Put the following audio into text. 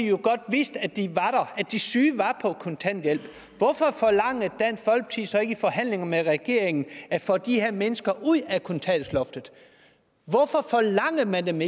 jo godt vidste at de de syge var på kontanthjælp hvorfor forlangte dansk folkeparti så ikke i forhandlingerne med regeringen at få de her mennesker ud af kontanthjælpsloftet hvorfor forlangte man